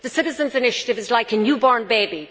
The citizens' initiative is like a newborn baby.